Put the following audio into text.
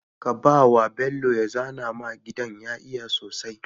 kabawa bello ya zana ma gidan ya iya sosai